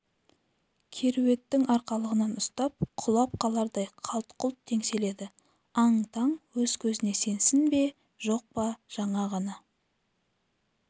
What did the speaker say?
кереуеттің арқалығынан ұстап құлап қалардай қалт-құлт теңселеді аң-таң өз көзіне сенсін бе жоқ па жаңа ғана